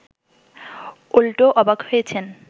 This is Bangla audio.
উল্টো অবাক হয়েছেন